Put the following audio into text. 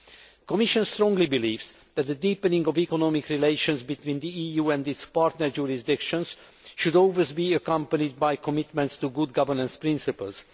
The Commission strongly believes that the deepening of economic relations between the EU and its partner jurisdictions should always be accompanied by commitments to good governance principles.